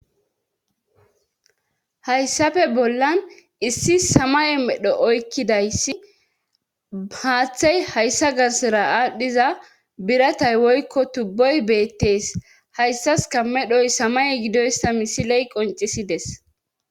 Hayssafe bollan issi samay medho oykkidayssi haaththey hayssa garsera aadhdhiza biratay woykko tubboy beettes hayssas kammedhoy samay gidoyssa misiley qoncisides.